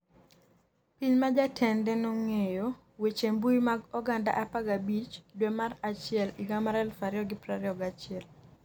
Piny ma jatende nogeng'o weche mbui mag oganda 15 dwe mar achiel higa mar 2021